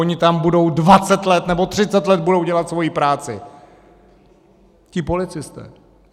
Oni tam budou dvacet let, nebo třicet let budou dělat svoji práci, ti policisté.